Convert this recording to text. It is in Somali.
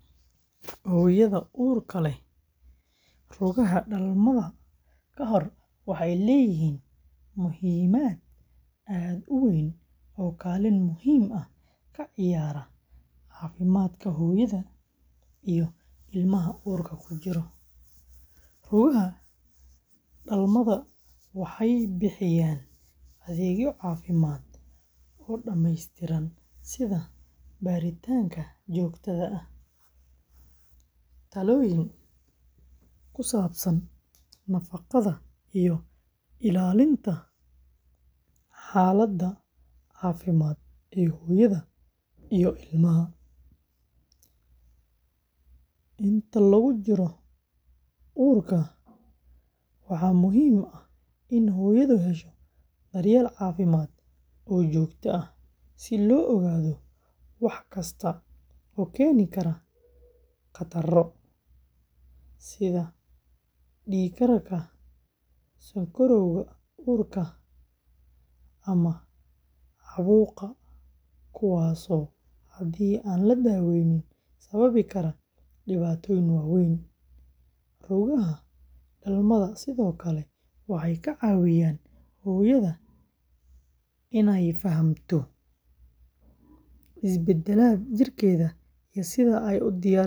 Hooyada uurka leh, rugaha dhalmada ka hor waxay leeyihiin muhiimad aad u weyn oo kaalin muhiim ah ka ciyaara caafimaadka hooyada iyo ilmaha uurka ku jira. Rugaha dhalmada waxay bixiyaan adeegyo caafimaad oo dhamaystiran sida baaritaanka joogtada ah, talooyin ku saabsan nafaqada, iyo ilaalinta xaaladda caafimaad ee hooyada iyo ilmaha. Inta lagu jiro uurka, waxaa muhiim ah in hooyadu hesho daryeel caafimaad oo joogto ah si loo ogaado wax kasta oo keeni kara khataro, sida dhiig-karka, sonkorowga uurka, ama caabuqa, kuwaasoo haddii aan la daweynin sababi kara dhibaatooyin waaweyn. Rugaha dhalmada sidoo kale waxay ka caawiyaan hooyada inay fahamto isbeddelada jirkeeda iyo sida ay u diyaarsan karto dhalmada.